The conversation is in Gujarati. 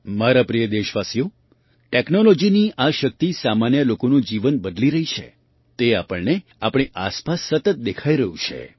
મારા પ્રિય દેશવાસીઓ ટૅક્નૉલૉજીની આ શક્તિ સામાન્ય લોકોનું જીવન બદલી રહી છે તે આપણને આપણી આસપાસ સતત દેખાઈ રહ્યું છે